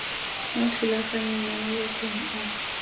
mo thulaganyong mo mabakeng a